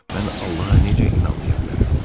Mən Allaha necə inanmaya bilərəm?